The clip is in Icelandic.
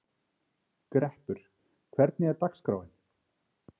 Greppur, hvernig er dagskráin?